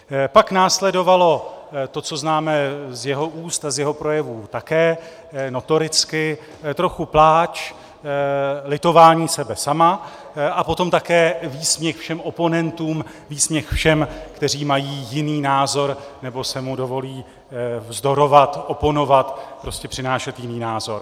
Pak následovalo to, co známe z jeho úst a z jeho projevů také notoricky, trochu pláč, litování sebe sama a potom také výsměch všem oponentům, výsměch všem, kteří mají jiný názor nebo si mu dovolí vzdorovat, oponovat, prostě přinášet jiný názor.